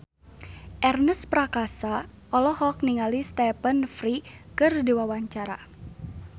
Ernest Prakasa olohok ningali Stephen Fry keur diwawancara